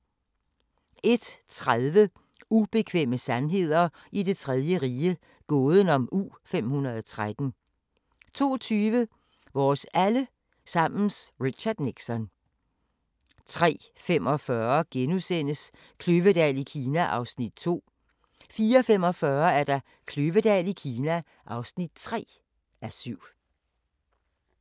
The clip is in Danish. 01:30: Ubekvemme sandheder i Det Tredje Rige – gåden om U-513 02:20: Vores alle sammens Richard Nixon 03:45: Kløvedal i Kina (2:7)* 04:45: Kløvedal i Kina (3:7)